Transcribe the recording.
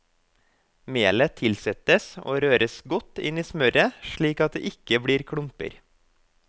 Melet tilsettes og røres godt inn i smøret slik at det ikke blir klumper.